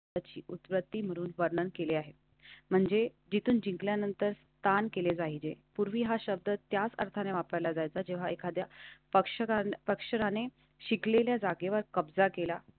ची उत्पत्ती म्हणून पडणार केली आहे. म्हणजे जिथून जिंकल्यानंतर स्थान केले जाईल. पूर्वी हा शब्द त्या अर्थाने वापरला जायचा. जेव्हा एखाद्या पक्षात पक्षाने शिकलेल्या जागेवर कब्जा केला.